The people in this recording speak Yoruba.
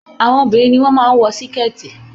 Àwọn obìnrin ni wọ́n máa ń wọ sikẹ̀ẹ̀tì